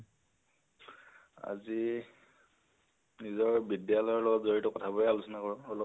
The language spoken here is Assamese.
আজি নিজৰ বিদ্য়ালয়ৰ লগত জড়িত কথাবোৰে আলোচনা কৰো অলপ